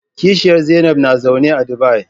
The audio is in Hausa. Kishiyar Zainab na zaune a Dubai.